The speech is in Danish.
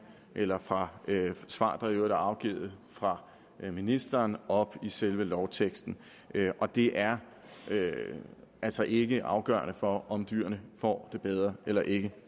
eller fra svar der i øvrigt er afgivet fra ministeren op i selve lovteksten og det er altså ikke afgørende for om dyrene får det bedre eller ikke